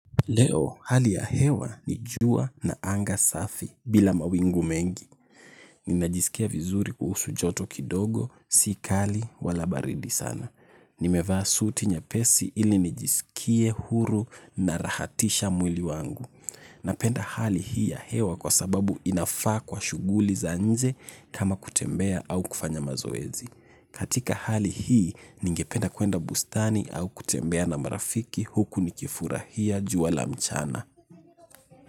Leo, hali ya hewa ni jua na anga safi bila mawingu mengi. Ninajisikia vizuri kuhusu joto kidogo, si kali, wala baridi sana. Nimevaa suti nyapesi ili nijisikie huru na rahatisha mwili wangu. Napenda hali hii ya hewa kwa sababu inafaa kwa shuguli za nje kama kutembea au kufanya mazoezi. Katika hali hii, ningependa kuenda bustani au kutembea na marafiki huku nikifurahia jua la mchana.